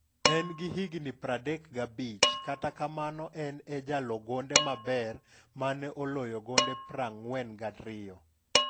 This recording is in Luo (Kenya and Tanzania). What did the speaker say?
En gi higni 35 kata kamano en e jalo gonde maber mane oloyo gonde 42.